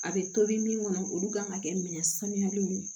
A bɛ tobi min kɔnɔ olu kan ka kɛ minɛn sanuyali min ye